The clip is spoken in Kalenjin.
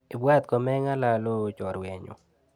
Ibwat komeng'alal ooh choruenyu.